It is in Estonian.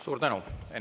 Suur tänu!